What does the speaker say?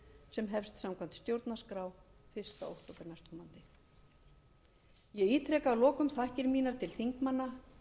sem hefst samkvæmt stjórnarskrá fyrstu okt næstkomandi ég ítreka að lokum þakkir mínar til þingmanna